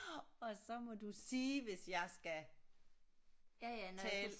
Og så må du sige hvis jeg skal tale